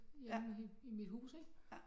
Inde i i mit hus ik